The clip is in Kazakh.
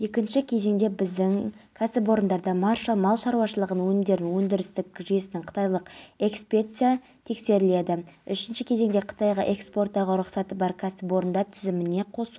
мелдебеков астана уақытша ұстау абақтысына қамалды ал әпейісова мен шәміл кінәсін толық мойындағандықтан және кішкентай балаларының болуына байланысты қамауға алынған жоқ